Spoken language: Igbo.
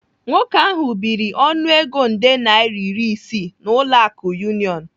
Nwoke ahu biri ọnụego nde naira iri isii n'ụlọ akụ Union.